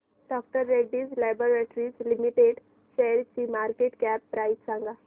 डॉ Reddy's laboratories limited शेअरची market cap price सांगा